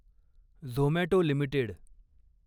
Zomato limited